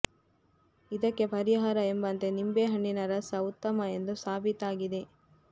ಇದಕ್ಕೆ ಪರಿಹಾರ ಎಂಬಂತೆ ನಿಂಬೆ ಹಣ್ಣಿನ ರಸ ಉತ್ತಮ ಎಂದು ಸಾಬೀತಾಗಿದೆ